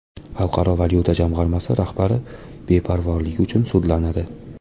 Xalqaro valyuta jamg‘armasi rahbari beparvoligi uchun sudlanadi.